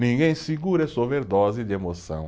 Ninguém segura essa overdose de emoção.